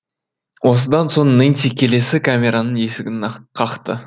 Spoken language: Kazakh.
осыдан соң нэнси келесі камераның есігін қақты